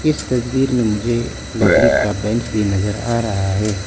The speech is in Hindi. इस तस्वीर में मुझे लकड़ी का बेंच भी नजर आ रहा है।